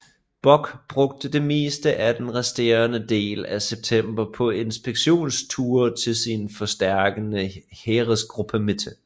Bock brugte det meste af den resterende del af september på inspektionsture til sin forstærkede Heeresgruppe Mitte